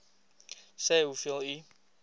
sê hoeveel u